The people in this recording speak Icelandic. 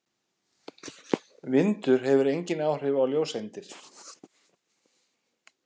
Vindur hefur engin áhrif á ljóseindir.